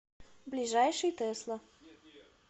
ближайший тесла